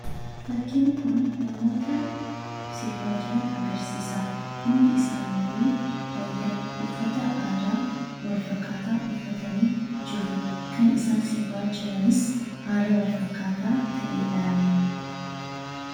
Fakkiin kun namoota sirbaa jiran agarsiisa. Hundi isaaniiyyuu uffata aadaa walfakkaataa uffatanii jiru. Kan isaan sirbaa jiranis haala wal fakkaataa ta'eedhaani.